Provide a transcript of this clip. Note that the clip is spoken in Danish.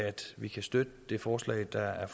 vi kan støtte det forslag der er